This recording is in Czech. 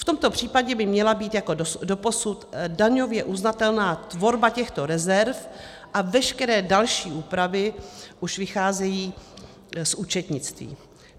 V tomto případě by měla být jako doposud daňově uznatelná tvorba těchto rezerv a veškeré další úpravy už vycházejí z účetnictví.